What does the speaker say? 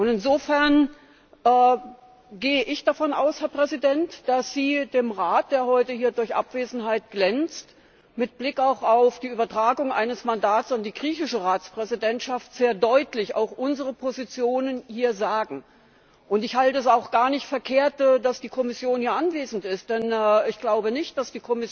Insofern gehe ich davon aus, Herr Präsident, dass Sie dem Rat, der heute hier durch Abwesenheit glänzt, mit Blick auch auf die Übertragung eines Mandats an die griechische Ratspräsidentschaft sehr deutlich auch unsere Positionen hier sagen. Ich halte es auch für gar nicht verkehrt, dass die Kommission hier anwesend ist, denn ich glaube nicht, dass